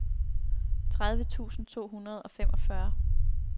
tredive tusind to hundrede og femogfyrre